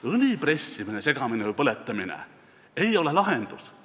Õli pressimine, segamine või põletamine ei ole lahendus.